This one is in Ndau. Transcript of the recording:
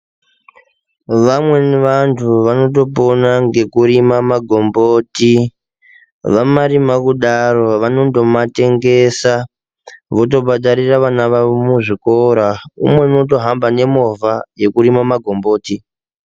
Vamweni vantu vanotopona ngekurima magomboti. Vamarima kudaro, vanondomatengesa, votobhadharira vana vavo muzvikora. Umwe unotohamba nemova yekurima magomboti.